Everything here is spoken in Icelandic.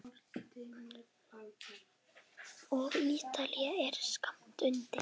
Og Ítalía er skammt undan.